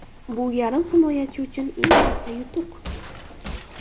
Bu yarim himoyachi uchun eng katta yutuq.